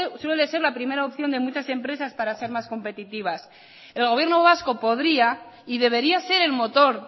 suele ser la primera opción de muchas empresas para ser más competitivas el gobierno vasco podría y debería ser el motor